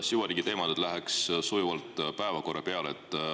Süvariigiteemalt läheks sujuvalt päevakorra juurde.